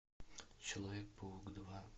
человек паук два